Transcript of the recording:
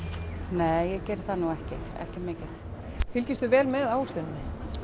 nei ég geri það nú ekki ekki mikið fylgistu vel með ávöxtuninni